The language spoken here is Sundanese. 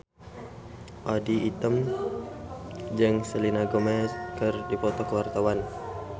Audy Item jeung Selena Gomez keur dipoto ku wartawan